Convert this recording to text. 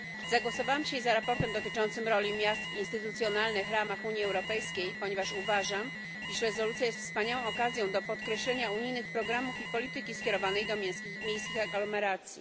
Zagłosowałam dzisiaj za sprawozdaniem dotyczącym roli miast w instytucjonalnych ramach Unii Europejskiej, ponieważ uważam, iż rezolucja jest wspaniałą okazją do podkreślenia unijnych programów i polityki skierowanej do miejskich aglomeracji.